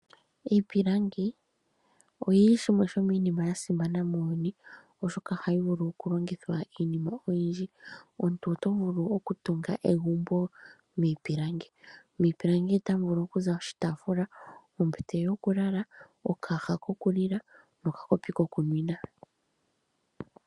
Iipilangi oyili shimwe shomiinima ya simana muuyuni oshoka ohayi vulu okulongithwa kiinima oyindji. Omuntu oto vulu okutunga egumbo miipilangi. Miipilangi otamu vulu okuza oshitaafula, ombete yokulala, okaaha kokulila nokakopi kokunwina.